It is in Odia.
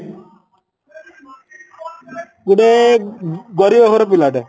ଗୋଟେ ଗରିବ ଘର ପିଲା ଟେ